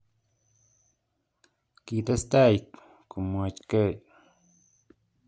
Kitestai komwochkei